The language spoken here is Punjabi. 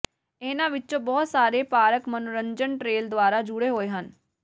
ਇਹਨਾਂ ਵਿੱਚੋਂ ਬਹੁਤ ਸਾਰੇ ਪਾਰਕ ਮਨੋਰੰਜਨ ਟ੍ਰੇਲ ਦੁਆਰਾ ਜੁੜੇ ਹੋਏ ਹਨ